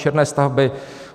Černé stavby.